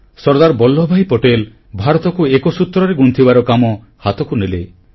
ସର୍ଦ୍ଦାର ବଲ୍ଲଭଭାଇ ପଟେଲ ଭାରତକୁ ଏକ ସୂତ୍ରରେ ଗୁନ୍ଥିବାର କାମ ହାତକୁ ନେଲେ